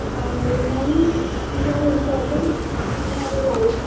R money is an important in our life